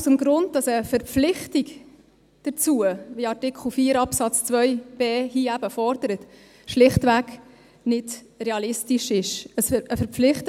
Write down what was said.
– Aus dem Grund, dass eine Verpflichtung dazu, wie Artikel 4 Absatz 2 Buchstabe b hier eben fordert, schlichtweg nicht realistisch ist.